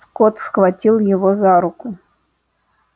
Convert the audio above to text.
скотт схватил его за руку